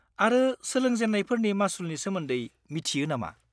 -आरो सोलोंजेन्नायफोरनि मासुलनि सोमोन्दै मिथियो नामा?